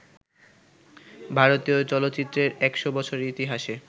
ভারতীয় চলচ্চিত্রের ১০০ বছরের ইতিহাসে